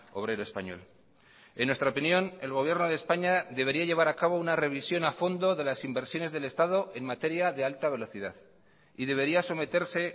obrero español en nuestra opinión el gobierno de españa debería llevar a cabo una revisión a fondo de las inversiones del estado en materia de alta velocidad y debería someterse